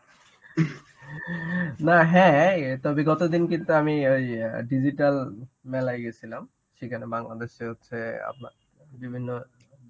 না হ্যাঁ এই তবে গতদিন কিন্তু আমি ওই অ্যাঁ digital মেলায় গেছিলাম. সেখানে বাংলাদেশে হচ্ছে আপনার বিভিন্ন